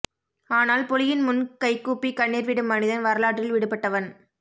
ஆனால் புலியின் முன் கைகூப்பிக் கண்ணீர் விடும் மனிதன் வரலாற்றில் விடுபட்டவன்